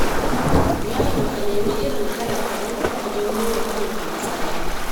Yaro ka nemi irin kalarka, don kar ka jawo wa kanka matsala.